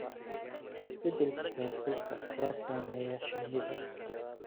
Isbeddelka heerkulka ayaa saameeya shinnida.